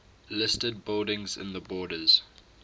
listed buildings in the borders